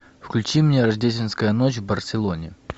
включи мне рождественская ночь в барселоне